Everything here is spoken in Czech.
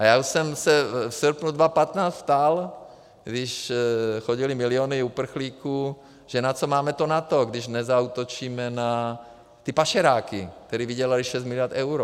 A já už jsem se v srpnu 2015 ptal, když chodily miliony uprchlíků, že na co máme to NATO, když nezaútočíme na ty pašeráky, kteří vydělali 6 miliard eur.